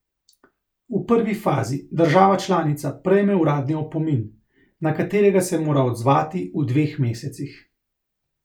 V prvi fazi država članica prejme uradni opomin, na katerega se mora odzvati v dveh mesecih.